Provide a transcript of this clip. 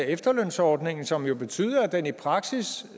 efterlønsordningen som jo betyder at den i praksis